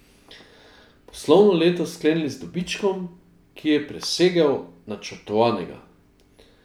Poslovno leto sklenili z dobičkom, ki je presegel načrtovanega.